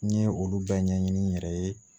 N ye olu bɛɛ ɲɛɲini n yɛrɛ ye